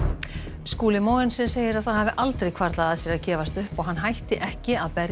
Skúli Mogensen segir að það hafi aldrei hvarflað að sér að gefast upp og hann hætti ekki að berjast